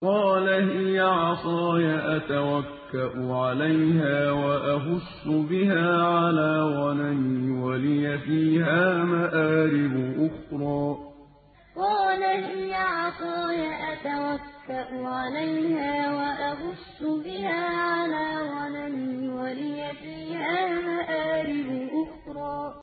قَالَ هِيَ عَصَايَ أَتَوَكَّأُ عَلَيْهَا وَأَهُشُّ بِهَا عَلَىٰ غَنَمِي وَلِيَ فِيهَا مَآرِبُ أُخْرَىٰ قَالَ هِيَ عَصَايَ أَتَوَكَّأُ عَلَيْهَا وَأَهُشُّ بِهَا عَلَىٰ غَنَمِي وَلِيَ فِيهَا مَآرِبُ أُخْرَىٰ